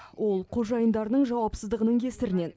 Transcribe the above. ол қожайындарының жауапсыздығының кесірінен